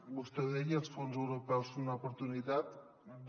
vostè deia els fons europeus són una oportunitat de